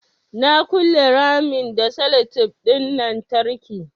Na ƙule ramin da sellotape ɗin lantarki